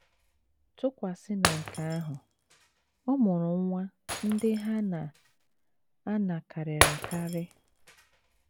Tụkwasị na nke ahụ, ọmụrụ nwa ndị ha na - ana karịrị akarị.